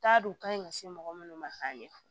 T'a don ka ɲi ka se mɔgɔ minnu ma k'a ɲɛfɔ